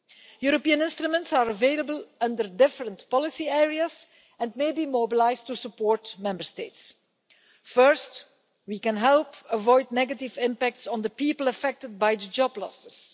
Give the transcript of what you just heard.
European instruments are available under different policy areas and may be mobilised to support Member States. First, we can help avoid negative impacts on the people affected by job losses.